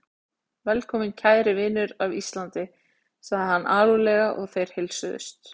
Velkominn kæri vinur af Íslandi, sagði hann alúðlega og þeir heilsuðust.